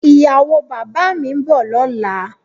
Ìyàwó bàbá mi ń bọ̀ lọ́la